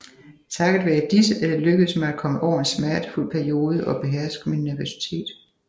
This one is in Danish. Takket være disse er det lykkedes mig at komme over en smertefuld periode og beherske min nervøsitet